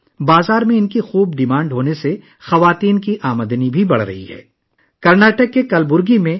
market میں ان کی بہت زیادہ مانگ کی وجہ سے خواتین کی آمدنی میں بھی اضافہ ہو رہا ہے